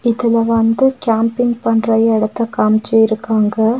இதுல வந்து கேம்பிங் பண்ற எடத்த காமிச்சுருக்காங்க.